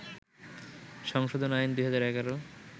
সংশোধন আইন, ২০১১